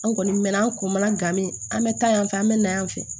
An kɔni mɛɛnna an kun mana gan min an bɛ taa yan fɛ an bɛ na yan fɛ